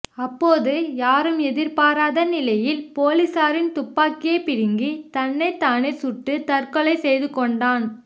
அப்போது யாரும் எதிர்பாராத நிலையில் போலீசாரின் துப்பாக்கியை பிடுங்கி தன்னை தானே சுட்டு தற்கொலை செய்து கொண்டான்